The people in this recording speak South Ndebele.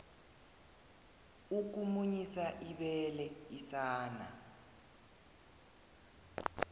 ukumunyisa ibele isana